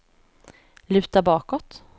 luta bakåt